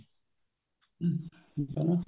ਹਮ ਹਨਾ